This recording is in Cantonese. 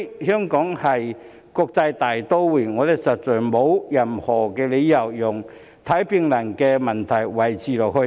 香港是國際大都會，我們實在沒有任何理由讓看病難的問題持續下去。